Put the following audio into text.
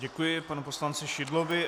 Děkuji panu poslanci Šidlovi.